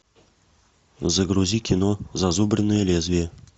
загрузи кино зазубренное лезвие